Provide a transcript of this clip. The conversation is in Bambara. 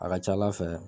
A ka ca ala fɛ